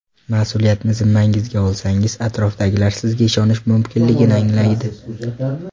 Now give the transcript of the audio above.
Mas’uliyatni zimmangizga olsangiz atrofdagilar sizga ishonish mumkinligini anglaydi.